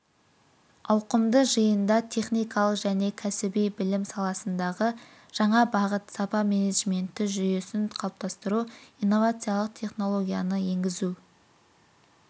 ауқымды жиында техникалық және кәсіби білім саласындағы жаңа бағыт сапа менеджменті жүйесін қалыптастыру инновациялық технологияны енгізу